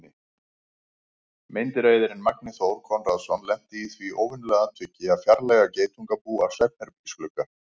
Meindýraeyðirinn Magni Þór Konráðsson lenti í því óvenjulega atviki að fjarlægja geitungabú af svefnherbergisglugga.